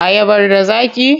Ayabar da zaƙi?